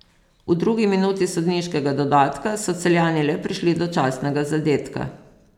V drugi minuti sodniškega dodatka so Celjani le prišli do častnega zadetka.